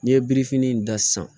N'i ye birifini da san